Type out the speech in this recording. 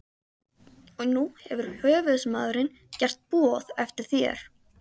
Og nú hefur höfuðsmaðurinn gert boð eftir þér.